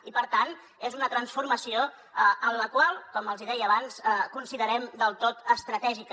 i per tant és una transformació que com els hi deia abans considerem del tot estratègica